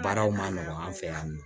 Baaraw ma nɔgɔn an fɛ yan nɔ